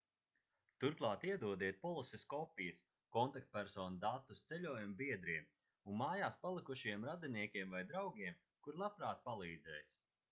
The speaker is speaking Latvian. turklāt iedodiet polises kopijas/kontaktpersonu datus ceļojuma biedriem un mājās palikušajiem radiniekiem vai draugiem kuri labprāt palīdzēs